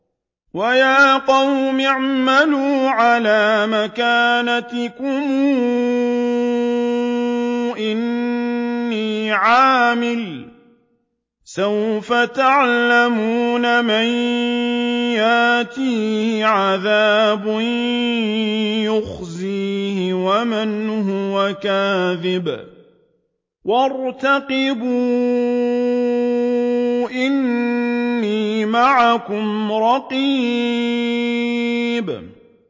وَيَا قَوْمِ اعْمَلُوا عَلَىٰ مَكَانَتِكُمْ إِنِّي عَامِلٌ ۖ سَوْفَ تَعْلَمُونَ مَن يَأْتِيهِ عَذَابٌ يُخْزِيهِ وَمَنْ هُوَ كَاذِبٌ ۖ وَارْتَقِبُوا إِنِّي مَعَكُمْ رَقِيبٌ